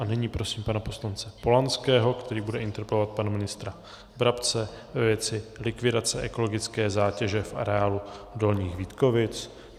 A nyní prosím pana poslance Polanského, který bude interpelovat pana ministra Brabce ve věci likvidace ekologické zátěže v areálu Dolních Vítkovic.